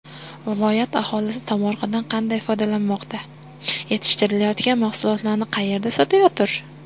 Viloyat aholisi tomorqadan qanday foydalanmoqda, yetishtirilayotgan mahsulotlarni qayerda sotayotir?